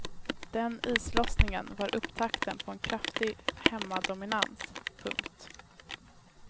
Den islossningen var upptakten på en kraftig hemmadominans. punkt